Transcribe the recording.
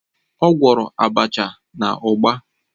Ọ gwọrọ abacha na ugba.